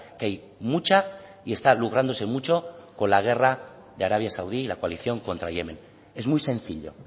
que hay mucha y está lucrándose mucho con la guerra de arabia saudí la coalición contra yemen es muy sencillo